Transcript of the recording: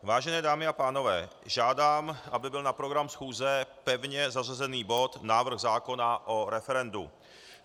Vážené dámy a pánové, žádám, aby byl na program schůze pevně zařazen bod návrh zákona o referendu.